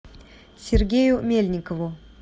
сергею мельникову